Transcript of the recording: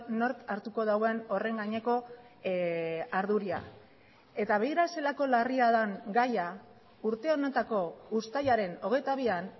nork hartuko duen horren gaineko ardura eta begira zelako larria den gaia urte honetako uztailaren hogeita bian